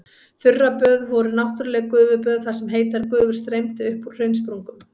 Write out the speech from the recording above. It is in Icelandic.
Þurraböð voru náttúrleg gufuböð þar sem heitar gufur streymdu upp úr hraunsprungum.